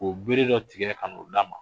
K'u bere dɔ tigɛ ka n'u d'a ma.